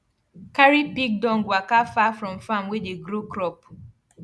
carry pig dung waka far from farm wey dey grow crop